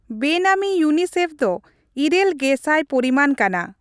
ᱵᱮᱱᱟᱢᱤ ᱤᱭᱩᱱᱤᱥᱮᱯᱷ ᱫᱚ ᱘000 ᱯᱚᱨᱤᱢᱟᱱ ᱠᱟᱱᱟ ?